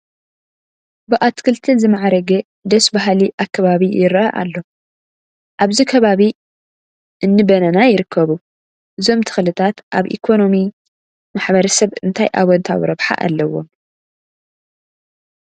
ብኣትክልቲ ዝማዕረገ ደስ በሃሊ ኣከባቢ ይርአ ኣሎ፡፡ ኣብዚ ከባቢ እኒ በናና ይርከቡ፡፡ እዞም ተኽልታት ኣብ ኢኮነሚ ማሕበረሰብ እንታይ ኣወንታዊ ረብሓ ኣለዎም?